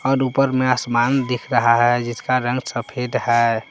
और ऊपर में आसमान दिख रहा है जिसका रंग सफेद है।